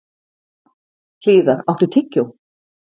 Hlíðar, áttu tyggjó?